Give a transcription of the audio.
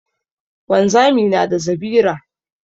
Wanzami na da zabira.